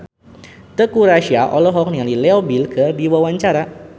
Teuku Rassya olohok ningali Leo Bill keur diwawancara